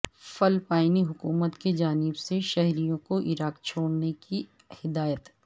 فلپائنی حکومت کی جانب سے شہریوں کو عراق چھوڑنے کی ہدایت